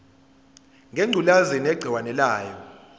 ngengculazi negciwane layo